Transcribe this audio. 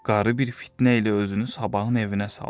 Qarı bir fitnə ilə özünü sabahın evinə saldı.